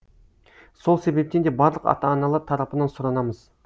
сол себептен де барлық ата аналар тарапынан сұранамыз